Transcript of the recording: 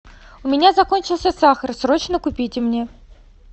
у меня закончился сахар срочно купите мне